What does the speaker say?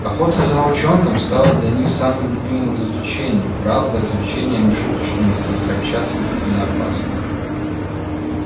охота за волчонком стала для них самым любимым развлечением правда развлечением не шуточным и подчас смертельно опасным